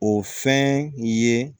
O fɛn ye